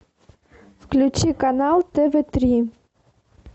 включи канал тв три